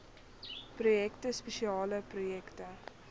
projekte spesiale projekte